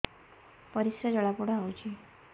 ପରିସ୍ରା ଜଳାପୋଡା ହଉଛି